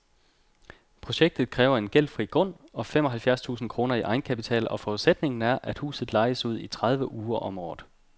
Projektet kræver en gældfri grund og fem og halvfjerds tusind kroner i egenkapital, og forudsætningen er, at huset lejes ud i tredive uger om året.